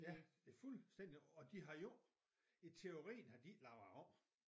Ja det fuldstændigt og de har jo i teorien har de jo ikke lavet om